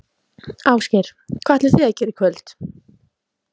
Ásgeir: Hvað ætlið þið að gera í kvöld?